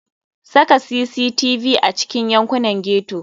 Saka cctv a cikin yankunan ghetto.